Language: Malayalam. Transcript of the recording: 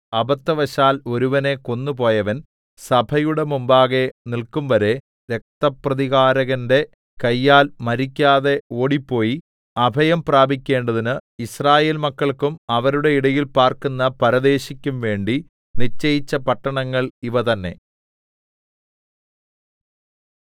അബദ്ധവശാൽ ഒരുവനെ കൊന്നുപോയവൻ സഭയുടെ മുമ്പാകെ നില്‍ക്കുംവരെ രക്തപ്രതികാരകന്റെ കയ്യാൽ മരിക്കാതെ ഓടിപ്പോയി അഭയം പ്രാപിക്കേണ്ടതിന് യിസ്രായേൽമക്കൾക്കും അവരുടെ ഇടയിൽ പാർക്കുന്ന പരദേശിക്കും വേണ്ടി നിശ്ചയിച്ച പട്ടണങ്ങൾ ഇവ തന്നേ